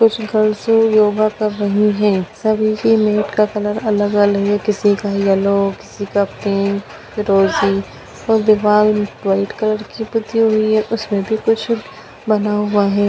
कुछ girls yoga कर रहीं हैं सभी की मेट का कलर अलग-अलग है किसी का येलो किसी का पिंक फिरोजी और दीवाल वाइट कलर की पुती हुई है उसमें भी कुछ बना हुआ है।